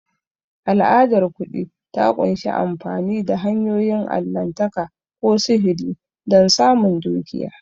Al'adar kuɗi ta ƙunshi amfani da hanyoyin allahntaka ko sihiri don samun dukiya.